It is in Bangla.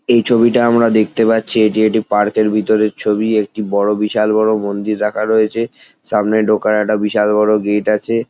এই ছবিটা আমরা দেখতে পাচ্ছি এটি একটি পার্ক -এর ভিতরের ছবি একটি বড়ো বিশাল বড়ো মন্দির রাখা রয়েছে সামনে ঢোকার একটা বিশাল বড়ো গেট আছে।